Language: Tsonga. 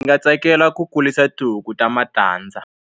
Ndzi nga tsakela ku kulisa tihuku ta matandza.